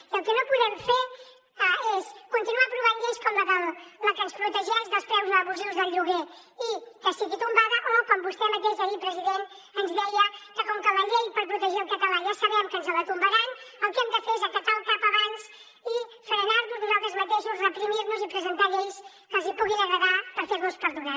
i el que no podem fer és continuar aprovant lleis com la que ens protegeix dels preus abusius del lloguer i que sigui tombada o com vostè mateix ahir president ens deia que com que la llei per protegir el català ja sabem que ens la tombaran el que hem de fer és acatar el cap abans i frenar nos nosaltres mateixos reprimir nos i presentar lleis que els hi puguin agradar per fer nos perdonar